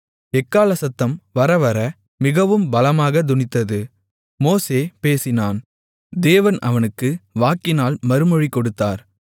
எக்காளசத்தம் வரவர மிகவும் பலமாகத் தொனித்தது மோசே பேசினான் தேவன் அவனுக்கு வாக்கினால் மறுமொழி கொடுத்தார்